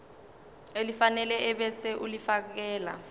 elifanele ebese ulifiakela